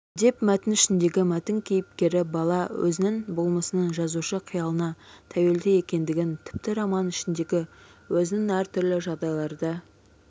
деп мәтін ішіндегі мәтін кейіпкері бала өзінің болмысының жазушы қиялына тәуелді екендігін тіпті роман ішіндегі өзінің әртүрлі жағдайларда